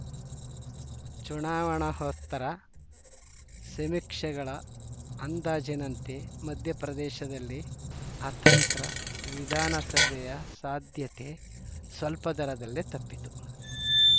ಚುನಾವಣೋತ್ತರ ಸಮೀಕ್ಷೆಗಳ ಅಂದಾಜಿನಂತೆ ಮಧ್ಯಪ್ರದೇಶದಲ್ಲಿ ಅತಂತ್ರ ವಿಧಾನಸಭೆಯ ಸಾಧ್ಯತೆ ಸ್ವಲ್ಪದರಲ್ಲೇ ತಪ್ಪಿತು